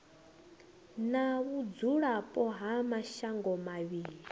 na vhudzulapo ha mashango mavhili